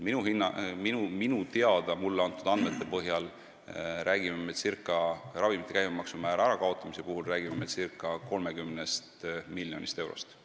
Minu teada, st mulle antud andmete põhjal räägime me ravimite käibemaksu määra ärakaotamise puhul circa 30 miljonist eurost.